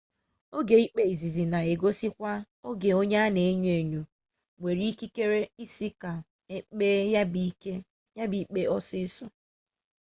oge ikpe izizi na egosikwa oge onye a na enyo enyo nwere ikike isi ka ekpee ya bụ ikpe ọsịsọ